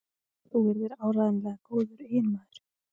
Þú yrðir áreiðanlega góður eiginmaður.